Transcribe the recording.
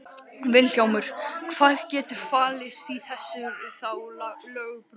Vilhjálmur, hvað getur falist í þessu þá lögbroti?